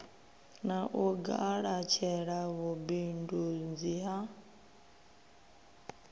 na u galatshela vhubindundzi ha